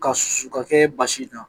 K'a susu k'a kɛ baasi na ye.